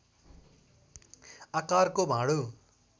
आकारको भाँडो।